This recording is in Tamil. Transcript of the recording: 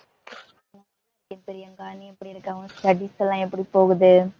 hai பிரியங்கா, நீ எப்படி இருக்க? உன் studies எல்லாம் எப்படி போகுது?